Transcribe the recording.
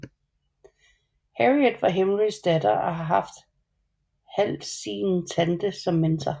Harriet var Henrys datter og havde haft ½sin tante som mentor